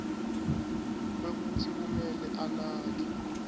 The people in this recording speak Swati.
kwekutsi kumele anake